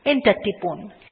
enter টিপুন